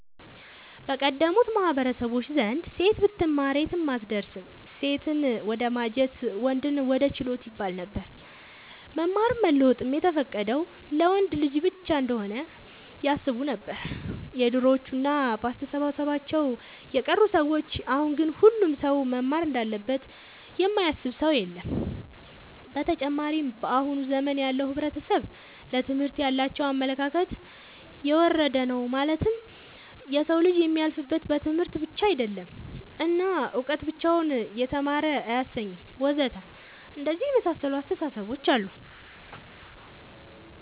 በቀደሙት ማህበረሰቦች ዘንድ ሴት ብትማር የትም አትደርስም ሴትን ወደማጀት ወንድን ወደ ችሎት ይባለነበር። መማርም መለወጥም የተፈቀደው ለወንድ ልጅ ብቻ እንሆነ ያስቡነበር የድሮዎቹ እና በአስተሳሰባቸው የቀሩ ሰዎች አሁን ግን ሁሉም ሰው መማር እንዳለበት የማያስብ ሰው የለም። ብተጨማርም በአሁን ዘመን ያለው ሕብረተሰብ ለትምህርት ያላቸው አመለካከት የወረደ ነው ማለትም የሰው ልጅ የሚያልፍለት በትምህርት ብቻ አይደለም እና እውቀት ብቻውን የተማረ አያሰኝም ወዘተ አንደነዚህ የመሳሰሉት አስታሳሰቦች አሉ